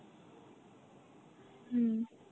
হম